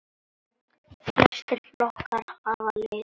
Flestir flókar hafa lit.